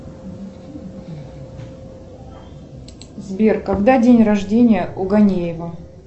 сбер когда день рождения у ганеева